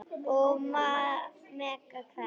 Og mega hverfa.